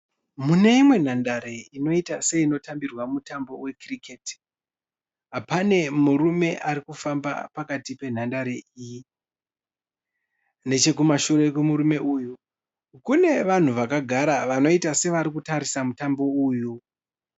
Muneimwe nhandare inoita seinotambirwa mutambo wekiriketi. Pane murume arikufamba pakati penhandare iyi. Nechekumashure kwemurume uyu, kune vanhu vakagara vanoita sevarikutarisa mutambo uyu.